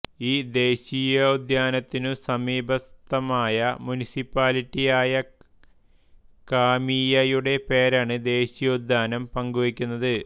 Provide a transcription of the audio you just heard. ഈ ദേശീയോദ്യാനത്തിനു സമീപസ്ഥമായ മുനിസിപ്പാലിറ്റിയായ കാമീയയുടെ പേരാണ് ദേശീയോദ്യാനം പങ്കുവയ്ക്കുന്നത്